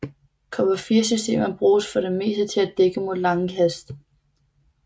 Cover 4 systemer bruges for det meste til at dække mod lange kast